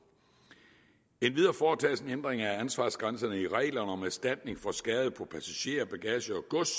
for en ændring af ansvarsgrænserne i reglerne om erstatning for skade på passagerer bagage og gods